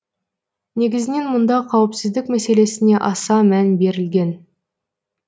негізінен мұнда қауіпсіздік мәселесіне аса мән берілген